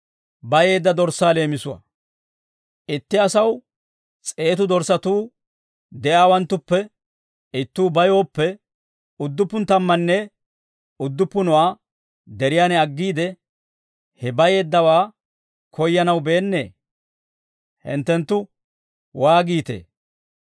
«Itti asaw s'eetu dorssatuu de'iyaawanttuppe ittuu bayooppe, udduppu tammanne udduppunuwaa deriyaan aggiide, he bayeeddawaa koyyanaw beennee? Hinttenttu waagiitee?